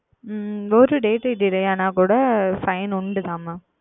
உம் ஓர் DateDelay ஆனால் கூட Fine உண்டு Mam